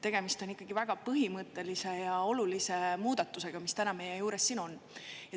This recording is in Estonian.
Tegemist on väga põhimõttelise ja olulise muudatusega, mis täna meie ees siin on.